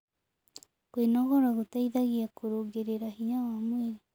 Kwĩnogora gũteĩthagĩa kũrũngĩrĩrĩa hinya wa mwĩrĩ